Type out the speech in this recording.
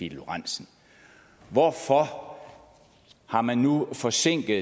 lorentzen hvorfor har man nu forsinket